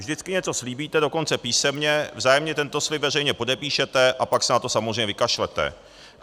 Vždycky něco slíbíte, dokonce písemně, vzájemně tento slib veřejně podepíšete, a pak se na to samozřejmě vykašlete.